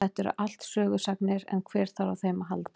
Þetta eru allt sögusagnir en hver þarf á þeim að halda.